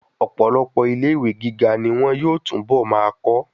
Ọ̀pọ̀lọpọ̀ ilé ìwé gíga ní wọn yóò tún bọ̀ máa kọ́.